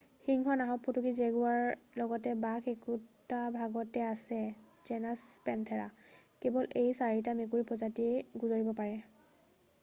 সিংহ নাহৰফুটুকী আৰু জেগুৱাৰৰ লগত বাঘ একেটা ভাগত আছে জেনাচ পেনথেৰা। কেৱল এই 4বিধ মেকুৰীৰ প্ৰজাতিয়ে গোজৰিব পাৰে।